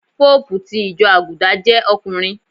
Pópùù ti ìjọ Àgùdà jẹ́ ọkùnrin.